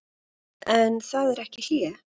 En það er ekki hlé.